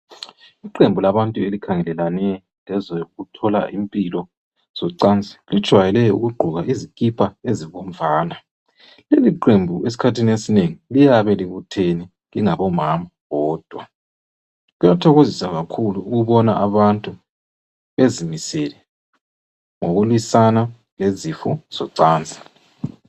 Iqembu labantu elikhangelelane lezokuthola impilo zocansi lijwayele ukugqoka izikipa ezibomvana leli qembu esikhathini esinengi liyabe libuthene lingomama bodwa kuyathokozisa kakhulu ukubona abantu bezimisele ngokulwisana lezifo zocansi.